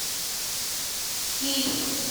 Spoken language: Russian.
киль